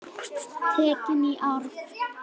Tekin í arf.